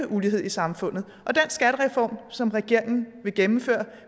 ulighed i samfundet og den skattereform som regeringen vil gennemføre